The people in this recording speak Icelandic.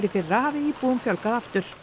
í fyrra hafi íbúum fjölgað aftur